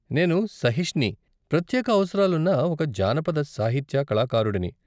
నేను సహిష్ని, ప్రత్యేక అవసరాలున్న ఒక జానపద సాహిత్య కళాకారుడిని.